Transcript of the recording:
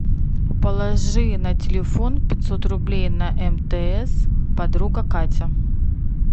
положи на телефон пятьсот рублей на мтс подруга катя